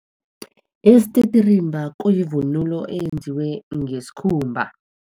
Isititirimba kuyivunulo eyenziwe ngesikhumba.